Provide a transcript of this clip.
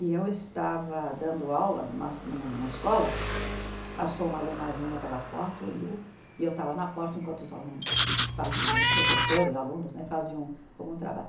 E eu estava dando aula numa numa escola, passou uma alunazinha pela porta, olhou, e eu estava na porta enquanto os alunos faziam, os professores, alunos né, faziam algum trabalho.